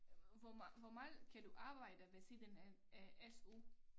Hvor meget hvor meget kan du arbejde ved siden af af SU